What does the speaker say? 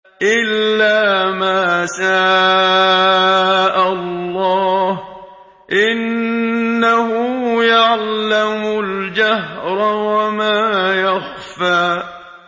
إِلَّا مَا شَاءَ اللَّهُ ۚ إِنَّهُ يَعْلَمُ الْجَهْرَ وَمَا يَخْفَىٰ